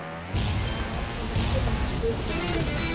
Ertu ánægð með spilamennsku ykkar í sumar?